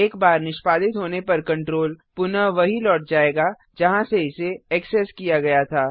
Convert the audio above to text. एक बार निष्पादित होने पर कंट्रोल पुनः वहीं लौट जाएगा जहाँ से इसे एक्सेस किया गया था